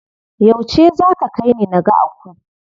Yauce za ka kaini naga Aku?